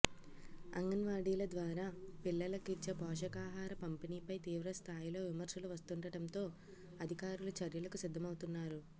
అంగన్వాడీల ద్వారా పిల్లలకిచ్చే పోషకాహార పంపిణీపై తీవ్ర స్థాయిలో విమర్శలు వస్తుండటంతో అధికారులు చర్యలకు సిద్ధమవుతున్నారు